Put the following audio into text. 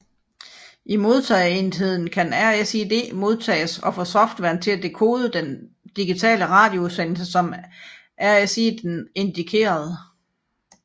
I modtagerenden kan RSID modtages og få softwaren til at dekode den digitale radioudsendelse som RSIDen indikerede